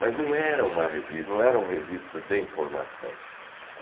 Mas não era uma revista, não era uma revista de informação.